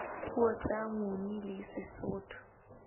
puo tsa nguni le sesotho